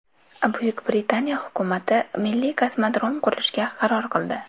Buyuk Britaniya hukumati milliy kosmodrom qurishga qaror qildi.